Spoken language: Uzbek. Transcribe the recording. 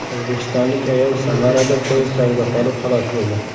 O‘zbekistonlik ayol Samarada poyezd tagida qolib, halok bo‘ldi.